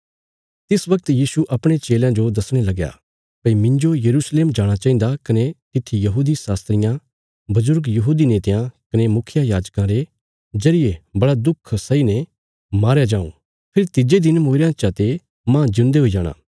तिस बगत यीशु अपणे चेलयां जो दसणे लगया भई मिन्जो यरूशलेम जाणा चाहिन्दा कने तित्थी यहूदी शास्त्रियां बजुर्ग यहूदी नेतयां कने मुखियायाजकां रे जरिये बड़ा दुख सहीने मारया जाऊँ फेरी तिज्जे दिन मूईरयां चा ते माह जिऊंदे हुई जाणा